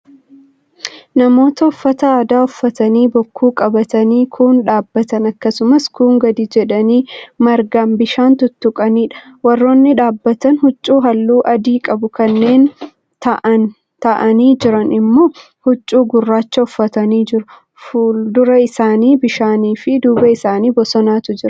Namoota uffata aadaa uffatanii, bokkuu qabatanii, kuun dhaabbatan akkasumas kuun gadi jedhanii margaan bishaan tuttuqaniidha. warroonni dhaabbatan huccuu halluu adii qabu kanneen taa'anii Jiran immoo huccuu gurraacha uffatanii jiru. fuulduta isaanii bishaaniifi duuba isaanii bosonatu Jira.